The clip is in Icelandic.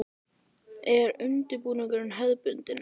Er undirbúningur hefðbundin?